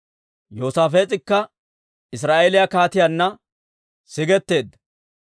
Yoosaafees'ikka Israa'eeliyaa kaatiyaanna sigetteedda.